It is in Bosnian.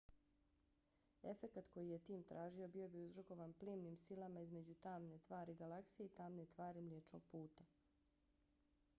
efekat koji je tim tražio bio bi uzrokovan plimnim silama između tamne tvari galaksije i tamne tvari mliječnog puta